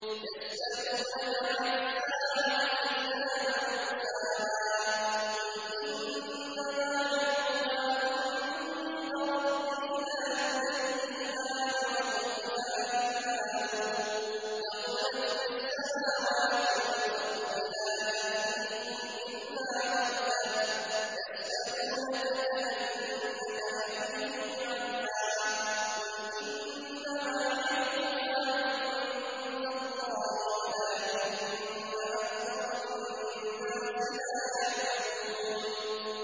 يَسْأَلُونَكَ عَنِ السَّاعَةِ أَيَّانَ مُرْسَاهَا ۖ قُلْ إِنَّمَا عِلْمُهَا عِندَ رَبِّي ۖ لَا يُجَلِّيهَا لِوَقْتِهَا إِلَّا هُوَ ۚ ثَقُلَتْ فِي السَّمَاوَاتِ وَالْأَرْضِ ۚ لَا تَأْتِيكُمْ إِلَّا بَغْتَةً ۗ يَسْأَلُونَكَ كَأَنَّكَ حَفِيٌّ عَنْهَا ۖ قُلْ إِنَّمَا عِلْمُهَا عِندَ اللَّهِ وَلَٰكِنَّ أَكْثَرَ النَّاسِ لَا يَعْلَمُونَ